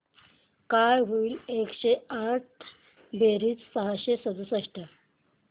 काय होईल एकशे आठ बेरीज सहाशे अडुसष्ट